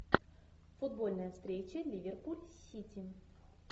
футбольная встреча ливерпуль сити